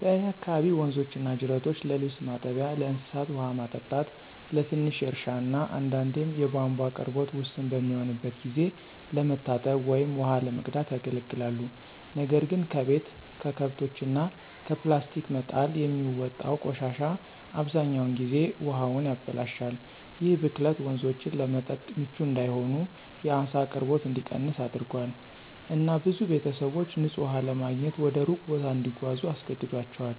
በእኔ አካባቢ ወንዞችና ጅረቶች ለልብስ ማጠቢያ፣ ለእንስሳት ውሃ ማጠጣት፣ ለትንሽ እርሻ እና አንዳንዴም የቧንቧ አቅርቦት ውስን በሚሆንበት ጊዜ ለመታጠብ ወይም ውሃ ለመቅዳት ያገለግላሉ። ነገር ግን ከቤት፣ ከከብቶች እና ከፕላስቲክ መጣል የሚወጣው ቆሻሻ አብዛኛውን ጊዜ ውሃውን ያበላሻል። ይህ ብክለት ወንዞቹን ለመጠጥ ምቹ እንዳይሆን፣ የዓሳ አቅርቦት እንዲቀንስ አድርጓል፣ እና ብዙ ቤተሰቦች ንፁህ ውሃ ለማግኘት ወደ ሩቅ ቦታ እንዲጓዙ አስገድዷቸዋል፣